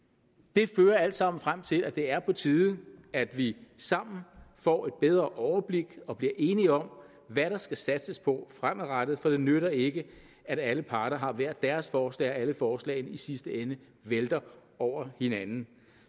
det fører alt sammen frem til at det er på tide at vi sammen får et bedre overblik og bliver enige om hvad der skal satses på fremadrettet for det nytter ikke at alle parter har hver deres forslag og at alle forslagene i sidste ende vælter over hinanden